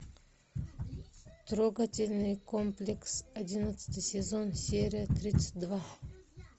трогательный комплекс одиннадцатый сезон серия тридцать два